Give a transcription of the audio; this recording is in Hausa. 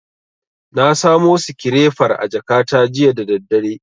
Na samo sikirefar a jakata jiya da daddare.